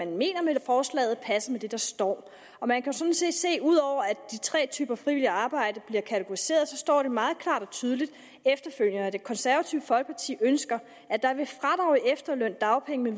mener med forslaget passer med det der står og man kan sådan set se at ud over at de tre typer frivilligt arbejde bliver kategoriseret så står det meget klart og tydeligt efterfølgende at det konservative folkeparti ønsker at der ved fradrag i efterløn dagpenge med